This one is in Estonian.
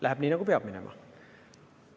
Läheb nii, nagu peab minema.